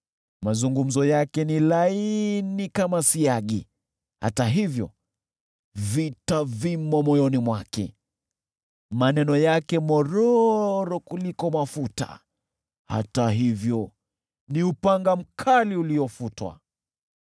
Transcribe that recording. Mazungumzo yake ni laini kama siagi, hata hivyo vita vimo moyoni mwake. Maneno yake ni mororo kuliko mafuta, hata hivyo ni upanga mkali uliofutwa.